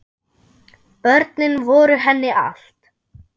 Börnin voru henni allt.